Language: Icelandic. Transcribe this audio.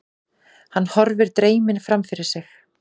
Hann horfir dreyminn framfyrir sig.